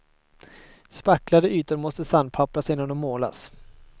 Spacklade ytor måste sandpappras innan de målas.